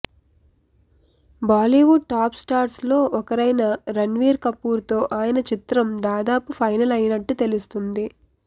Bollywood top stars లో ఒకరైన రణ్వీర్ కపూర్ తో ఆయన చిత్రం దాదాపు ఫైనల్ అయినట్టు తెలుస్తుంది